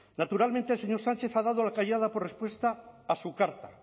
naturalmente el señor sánchez ha dado la callada por respuesta a su carta